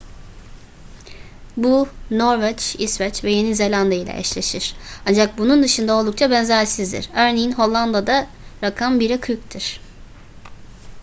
bu norveç i̇sveç ve yeni zelanda ile eşleşir. ancak bunun dışında oldukça benzersizdir. örneğin hollanda'da rakam bire kırktır